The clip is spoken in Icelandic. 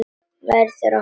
Verður að fara heim.